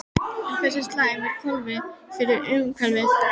En hversu slæm eru kolin fyrir umhverfið?